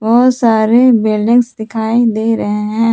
बहुत सारे बिल्डिंग दिखाई दे रहे हैं।